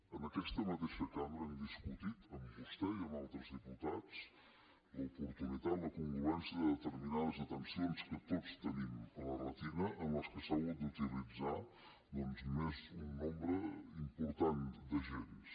en aquesta mateixa cambra hem discutit amb vostè i amb altres diputats l’oportunitat la congruència de determinades detencions que tots tenim a la retina en què s’ha hagut d’utilitzar doncs un nombre important d’agents